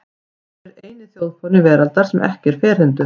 Hver er eini þjóðfáni veraldar sem er ekki ferhyrndur?